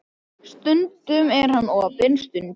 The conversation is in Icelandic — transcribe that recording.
Stundum er hann opinn, stundum lokaður.